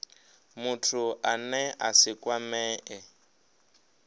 muthu ane a si kwamee